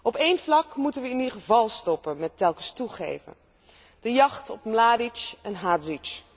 Op één vlak moeten we in ieder geval stoppen met telkens toegeven de jacht op Mladić en Hadžić.